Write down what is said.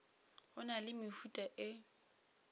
go na le mehuta e